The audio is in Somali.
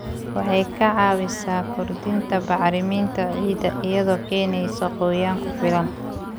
Waxay ka caawisaa kordhinta bacriminta ciidda iyadoo keenaysa qoyaan ku filan.